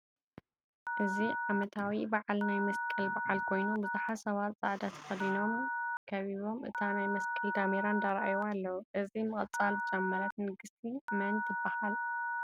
እዚ ዓመታዊ በዓል ናይ መስቀል በዓል ኮይኑብዙሓት ሰባት ፃዕዳ ተከዲኖም ከቢቦም እታ ናይ መስቀል ዳሜራ እንዳረኣዩዋ ኣለው። እዚ ምቅፃል ዝጀመረት ንግስቲ መን ትበሃል ?